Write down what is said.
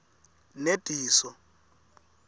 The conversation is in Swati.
nediso